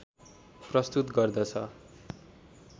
प्रस्तुत गर्दछ